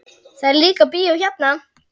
Það er líka bíó hérna.